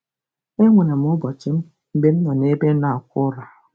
Enwere m ụbọchị m mgbe m na-ebe nnọọ akwa ụra.